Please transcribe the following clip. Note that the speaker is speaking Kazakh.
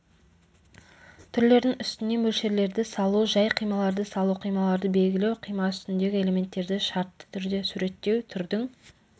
түрлердің үстіне мөлшерлерді салу жай қималарды салу қималарды белгілеу қима үстіндегі элементтерді шартты түрде суреттеу түрдің